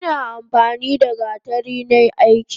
Ina amfanida gatari nai aiki.